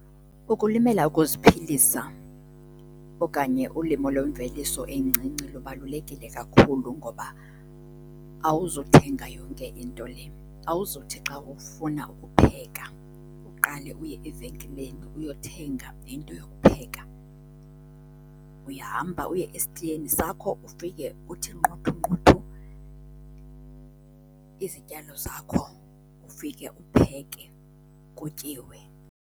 Ukulimela ukuziphilisa okanye ulimo lwemveliso encinci lubalulekile kakhulu ngoba awuzuthenga yonke into le. Awuzuthi xa ufuna ukupheka uqale uye evenkileni uyothenga into yokupheka. Uyahamba uye esitiyeni sakho ufike uthi nqunthu nqunthu izityalo zakho ufike upheke kutyiwe.